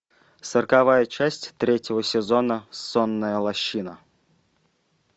сороковая часть третьего сезона сонная лощина